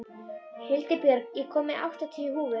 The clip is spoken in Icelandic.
Hildibjörg, ég kom með áttatíu húfur!